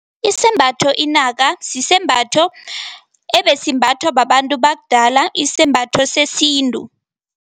Isembatho inaka, sisembatho ebesimbathwa babantu bakudala, isembatho sesintu.